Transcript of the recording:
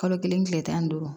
Kalo kelen kile tan ni duuru